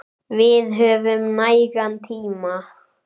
Við höfum nægan tíma.